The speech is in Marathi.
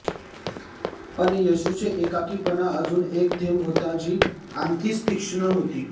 पण येशूचे एकाकीपणा अजून एक थेंब होता जी आणखीनच तीक्ष्ण होती